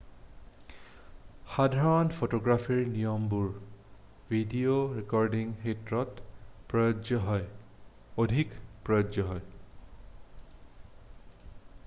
সাধাৰণ ফটোগ্ৰাফীৰ নিয়মবোৰ ভিডিঅ' ৰেকৰ্ডিঙৰ ক্ষেত্ৰতো প্ৰযোজ্য হয় অধিক প্ৰযোজ্য হয়